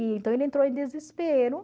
Então, ele entrou em desespero.